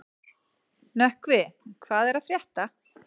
Nökkvi, hvað er að frétta?